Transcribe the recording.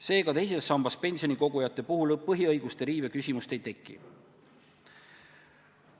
Seega, teise samba pensionikogujate puhul põhiõiguste riive küsimust ei teki.